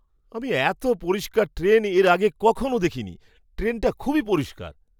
আমি এতো পরিষ্কার ট্রেন এর আগে কখনও দেখিনি! ট্রেনটা খুবই পরিষ্কার!